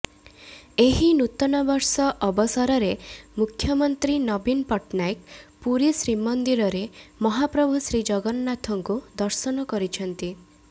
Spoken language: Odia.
ଏହି ନୂତନବର୍ଷ ଅବସରରେ ମୁଖ୍ୟମନ୍ତ୍ରୀ ନବୀନ ପଟ୍ଟନାୟକ ପୁରୀ ଶ୍ରୀମନ୍ଦିରରେ ମହାପ୍ରଭୁ ଶ୍ରୀଜଗନ୍ନାଥଙ୍କୁ ଦର୍ଶନ କରିଛନ୍ତି